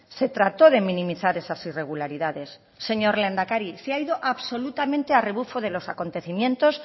se trató de minimizar esas irregularidades señor lehendakari se ha ido absolutamente a rebufo de los acontecimientos